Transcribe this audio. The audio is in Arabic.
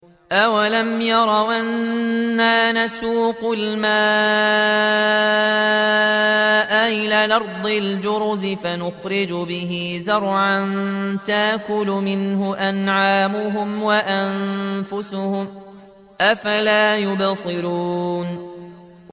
أَوَلَمْ يَرَوْا أَنَّا نَسُوقُ الْمَاءَ إِلَى الْأَرْضِ الْجُرُزِ فَنُخْرِجُ بِهِ زَرْعًا تَأْكُلُ مِنْهُ أَنْعَامُهُمْ وَأَنفُسُهُمْ ۖ أَفَلَا يُبْصِرُونَ